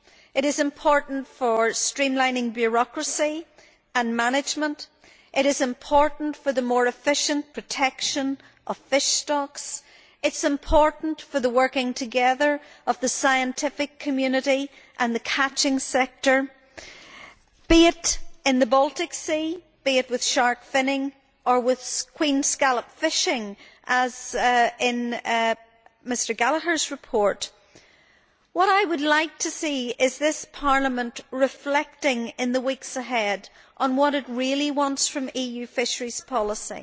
It is important for streamlining bureaucracy and management, the more efficient protection of fish stocks, and the working together of the scientific community and the catching sector, be it in the Baltic Sea, with shark finning or with queen scallop fishing, as in Mr Gallagher's report. What I would like to see is this Parliament reflecting, in the weeks ahead, on what it really wants from EU fisheries policy.